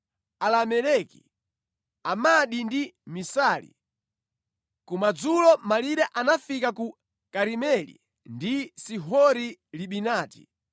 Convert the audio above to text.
Alameleki, Amadi ndi Misali. Kumadzulo malire anafika ku Karimeli ndi Sihori Libinati.